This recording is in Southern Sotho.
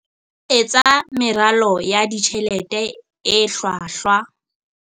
Etsa meralo ya ditjhelete e hlwahlwa